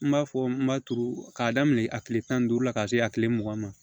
N b'a fɔ n b'a turu k'a daminɛ a kile tan ni duuru la ka se a kile mugan ma